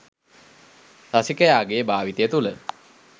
රසිකයාගේ භාවිතය තුළ